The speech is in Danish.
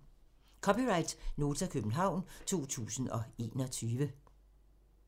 (c) Nota, København 2021